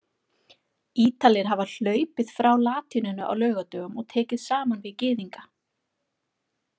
Ítalir hafa hlaupið frá latínunni á laugardögum og tekið saman við Gyðinga.